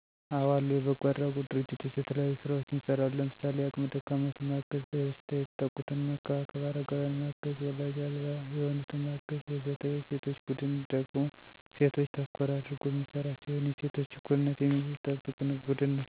አዎ አሉ። የበጎ አድራጎት ድርጅቶች የተለያዩ ስራዎችን ይሰራሉ። ለምሳሌ:- አቅመ ደካማዎችን ማገዝ፣ በበሽታ የተጠቁትን መንከባከብ፣ አረጋውያንን ማገዝ፣ ዎላጅ አልባ የሆኑትን ማገዝ ... ወዘተ። የሴቶች ቡድን ደግሞ እሴቶችን ተኮር አድርጎ የሚሰራ ሲሆን የሴቶችን እኩልነት የሚያስጠብቅ ቡድን ነው።